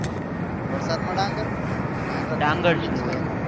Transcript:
વરસાદ માં ડાંગ